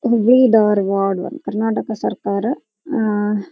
ಹುಬ್ಬಳ್ಳಿ ಧಾರವಾಡ ಕರ್ನಾಟಕ ಸರ್ಕಾರ ಆಹ್ಹ್ --